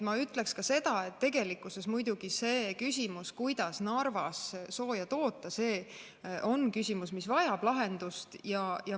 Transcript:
Ma ütleks ka seda, et tegelikkuses muidugi see küsimus, kuidas Narvas sooja toota, on küsimus, mis vajab lahendust.